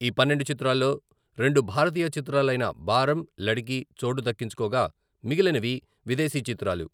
ఈ పన్నెండు చిత్రాల్లో రెండు భారతీయ చిత్రాలైన బారం, లడకి చోటు దక్కించుకోగా..మిగిలినవి విదేశీ చిత్రాలు.